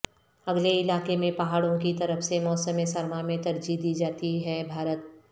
اگلے علاقے میں پہاڑوں کی طرف سے موسم سرما میں ترجیح دی جاتی ہے بھارت